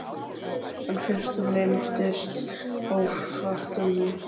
En fyrst þú minntist á fartölvu.